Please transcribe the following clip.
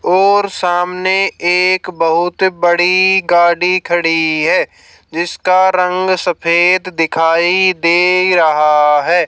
और सामने एक बहुत बड़ी गाड़ी खड़ी है जिसका रंग सफेद दिखाई दे रहा है।